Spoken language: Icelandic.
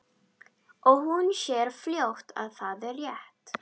Og hún sér fljótt að það er rétt.